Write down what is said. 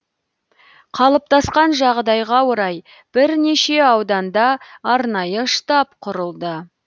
қалыптасқан жағдайға орай бірнеше ауданда арнайы штаб құрылды